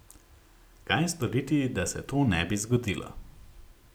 Kaj storiti, da se to ne bi zgodilo?